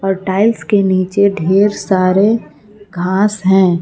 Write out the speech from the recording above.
Tiles के नीचे ढेर सारे घास है।